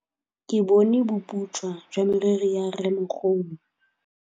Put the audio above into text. Ke bone boputswa jwa meriri ya rrêmogolo.